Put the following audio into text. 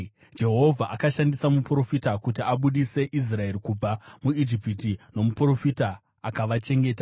Jehovha akashandisa muprofita kuti abudise Israeri kubva muIjipiti, nomuprofita akavachengeta.